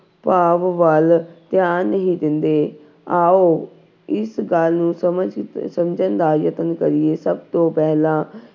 ਭਾਵ ਵੱਲ ਧਿਆਨ ਨਹੀਂ ਦਿੰਦੇ, ਆਓ ਇਸ ਗੱਲ ਨੂੰ ਸਮਝ ਸਮਝਣ ਦਾ ਯਤਨ ਕਰੀਏ ਸਭ ਤੋਂ ਪਹਿਲਾਂ